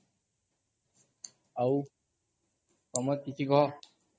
ଆଉ ତମର କିଛି କୁହ